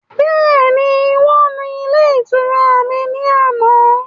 Bẹ́ẹ̀ni, Wọ́n nu ilé ìtura mi ni àná